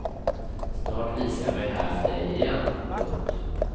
Snart visar jag mig här för dig igen. punkt